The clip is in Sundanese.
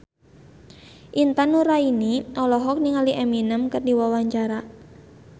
Intan Nuraini olohok ningali Eminem keur diwawancara